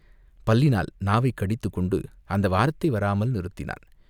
பல்லினால் நாவைக் கடித்துக் கொண்டு அந்த வார்த்தை வராமல் நிறுத்தினான்.